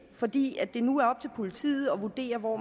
fordi det nu er op til politiet at vurdere hvor